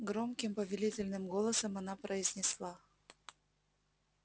громким повелительным голосом она произнесла